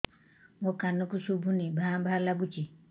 ମୋ କାନକୁ ଶୁଭୁନି ଭା ଭା ଲାଗୁଚି